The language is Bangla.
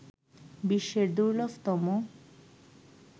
বিশ্বের দুর্লভতম